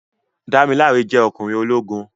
Dámiláre jẹ́ ọkùnrin ológun